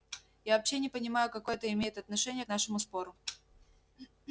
я вообще не понимаю какое это имеет отношение к нашему спору